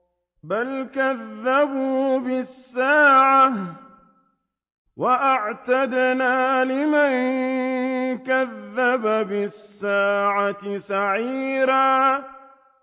بَلْ كَذَّبُوا بِالسَّاعَةِ ۖ وَأَعْتَدْنَا لِمَن كَذَّبَ بِالسَّاعَةِ سَعِيرًا